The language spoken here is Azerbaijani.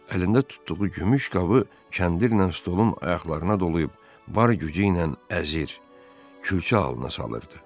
Əlində tutduğu gümüş qabı kəndirlə stolun ayaqlarına dolayıb var gücü ilə əzir, külçə halına salırdı.